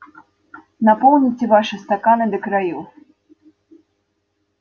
наполните ваши стаканы до краёв